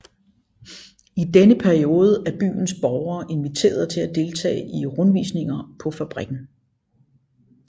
I denne periode er byens borgere inviteret til at deltage i rundvisninger på fabrikken